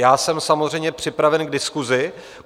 Já jsem samozřejmě připraven k diskusi.